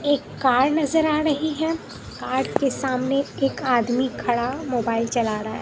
एक कार नजर आ रही है कार के सामने एक आदमी खड़ा मोबाइल चला रहा है।